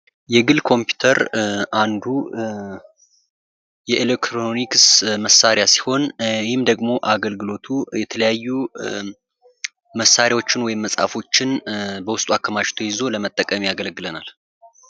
የግል ኮምፒውተር አንዱ የኤሌክትሮኒክስ መሳሪያ ሲሆን፤ ይህም ደግሞ አገልግሎቱ የተለያዩ መሣሪያዎችን ወይም መጽሃፎችን በውስጡ አከማችቶ ይዞ ለመጠቀም ያገለግላል።